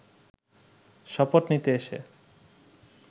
শপথ নিতে এসে